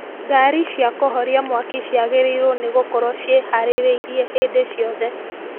Ngari cia kũhoria mwaki cĩagĩrĩirwo nĩ gũkorwo ciĩharĩrĩirie hĩndĩ ciothe